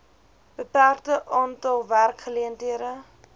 beperkte aantal werkgeleenthede